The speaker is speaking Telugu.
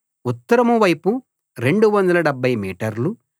ఉత్తరం వైపు 270 మీటర్లు